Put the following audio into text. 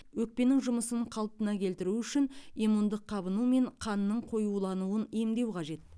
өкпенің жұмысын қалпына келтіру үшін иммундық қабыну мен қанның қоюлануын емдеу қажет